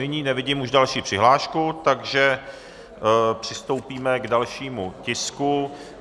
Nyní nevidím už další přihlášku, takže přistoupíme k dalšímu tisku.